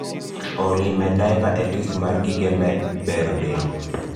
olly med daipa e list mar gige bero del